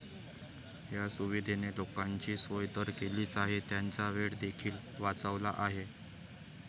या सुविधेने लोकांची सोय तर केलीच आहे, त्यांचा वेळ देखील वाचवला आहे.